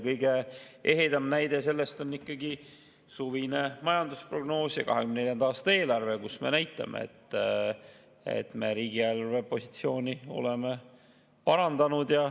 Kõige ehedam näide sellest on suvine majandusprognoos ja 2024. aasta eelarve, kus me näitame, et me riigieelarve positsiooni oleme parandanud.